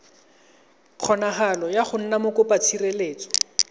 kgonagalo ya go nna mokopatshireletso